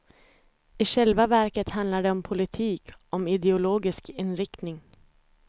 I själva verket handlar det om politik, om ideologisk inriktning.